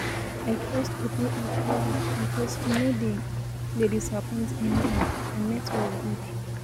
i trust opay app wella because e no dey dey disappoint anyhow and network good